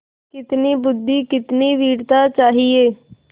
कितनी बुद्वि कितनी वीरता चाहिए